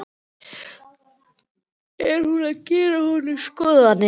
Er hún að gera honum upp skoðanir?